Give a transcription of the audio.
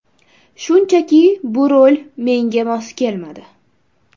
Shunchaki bu rol menga mos kelmadi.